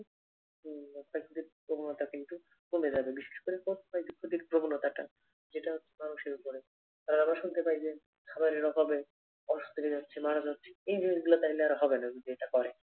প্রবণতা কিন্তু কমে যাবে বিশেষ করে প্রবণতাটা যেটা এই জিনিস গুলা তাহলে আর হবে না যদি এটা করে